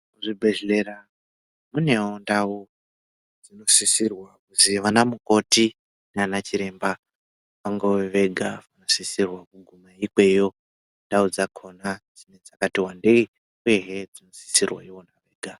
Muzvibhedhlera munewo ndau dzinosisirwa kuzi vana mukoti nana chiremba vangewo vaigadzirisa kuguma ikweyo ndau dzakona dzinenge dzakati wandei uyehe dzinosisirwa ivona vega.